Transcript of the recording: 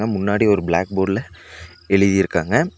முன்னாடி ஒரு பிளாக் போர்ட்ல எழுதிருக்காங்க.